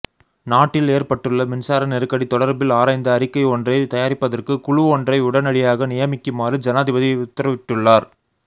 நாட்டில் ஏற்பட்டுள்ள மின்சார நெருக்கடி தொடர்பில் ஆராய்ந்து அறிக்கை ஒன்றை தயாரிப்பதற்கு குழுவொன்றை உடனடியாக நியமிக்குமாறு ஜனாதிபதி உத்தரவிட்டுள்ளார்